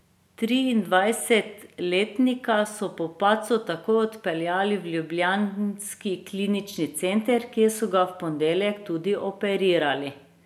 Triindvajsetletnika so po padcu takoj odpeljali v ljubljanski Klinični center, kjer so ga v ponedeljek tudi operirali.